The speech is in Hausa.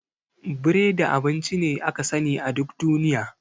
Biredi abinci ne aka sani a duk duniya.